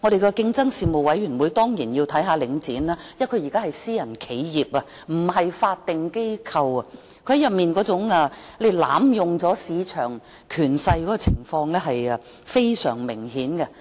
競爭事務委員會當然要監察領展，因為它現在是私人企業，而不是法定機構，它濫用市場權勢的情況非常明顯。